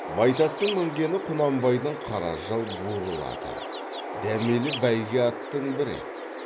байтастың мінгені құнанбайдың қара жал бурыл аты дәмелі бәйге аттың бірі еді